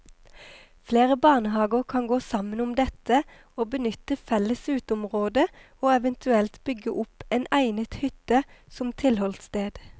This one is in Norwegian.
Flere barnehager kan gå sammen om dette og benytte felles uteområde og eventuelt bygge opp en egnet hytte som tilholdssted.